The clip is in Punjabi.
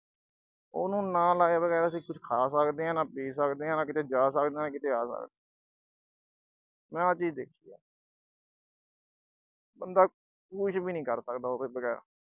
ਉਹਨੂੰ, ਨਾ ਨਸ਼ੇ ਤੋਂ ਬਗੈਰ ਅਸੀਂ ਕੁਸ਼ ਖਾ ਸਕਦੇ ਆਂ, ਨਾ ਪੀ ਸਕਦੇ ਆਂ, ਨਾ ਕਿਤੇ ਜਾ ਸਕਦੇ ਆਂ, ਨਾ ਕਿਤੇ ਆ ਸਕਦੇ ਆਂ। ਮੈਂ ਆਹ ਚੀਜ਼ ਦੇਖੀ ਆ। ਬੰਦਾ ਕੁਸ਼ ਵੀ ਨੀਂ ਕਰ ਸਕਦਾ ਉਹਦੇ ਬਗੈਰ।